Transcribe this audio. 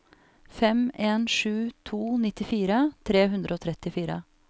fem en sju to nittifire tre hundre og trettifire